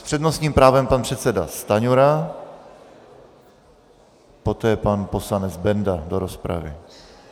S přednostním právem pan předseda Stanjura, poté pan poslanec Benda do rozpravy.